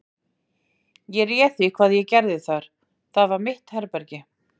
Ég réð því hvað ég gerði þar: það var mitt herbergi.